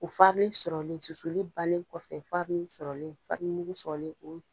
O farile sɔrɔlen susuli balen kɔfɛ farile sɔrɔlen farini mugu sɔrɔlen